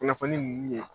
Kunnafoni nunnu ye